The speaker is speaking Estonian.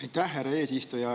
Aitäh, härra eesistuja!